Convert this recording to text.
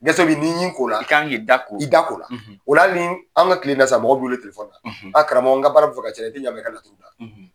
Gɛsɛ beyi n'i ɲi ko lakan k'i da ko o an ka tile in na sisan mɔgɔ wele a karamɔgɔ n ka baara tɛ ka ɲa i tɛ ɲa ma i ka laturu da